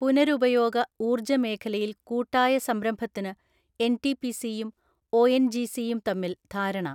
പുനരുപയോഗ ഊർജ മേഖലയിൽ കൂട്ടായ സംരംഭത്തിനു എൻടിപിസി യും ഓഎൻജിസി യും തമ്മിൽ ധാരണ